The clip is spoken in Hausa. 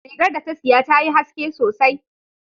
Rigar da ta siya tayi haske sosai